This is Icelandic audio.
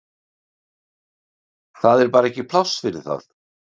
Það er bara ekkert pláss fyrir það.